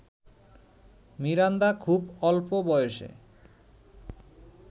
Miranda খুব অল্প বয়সে